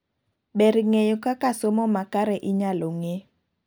ber ng'eyo kaka somo makare inyalo ng'ee